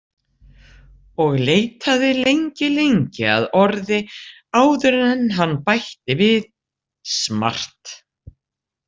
Og leitaði lengi lengi að orði áður en hann bætti við: smart.